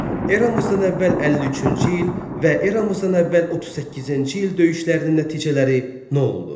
Eramızdan əvvəl 53-cü il və eramızdan əvvəl 38-ci il döyüşlərinin nəticələri nə oldu?